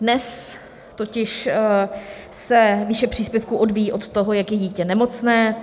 Dnes totiž se výše příspěvku odvíjí od toho, jak je dítě nemocné.